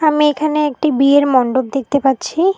আমি এইখানে একটি বিয়ের মন্ডপ দেখতে পাচ্ছি।